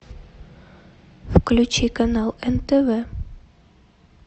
включи канал нтв